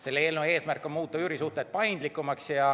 Selle eelnõu eesmärk on muuta üürisuhted paindlikumaks.